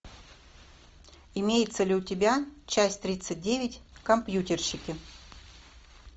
имеется ли у тебя часть тридцать девять компьютерщики